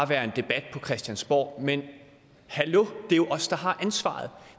være en debat på christiansborg men hallo det er jo os der har ansvaret